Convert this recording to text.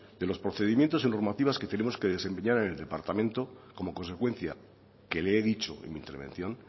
de los procedimientos y normativas que tenemos que desempeñar en el departamento como consecuencia que le he dicho en mi intervención